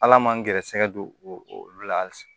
Ala man n gɛrɛsɛgɛ don o la hali